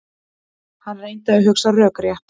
Hann reyndi að hugsa rökrétt.